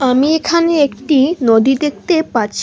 আমি এখানে একটি নদী দেখতে পাচ্ছি।